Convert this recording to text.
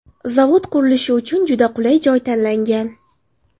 Zavod qurilishi uchun juda qulay joy tanlangan.